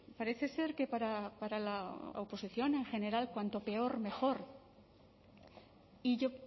parece ser que para la oposición en general cuanto peor mejor y yo